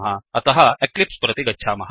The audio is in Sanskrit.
अतः एक्लिप्स् प्रति गच्छामः